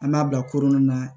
An b'a bila kurun na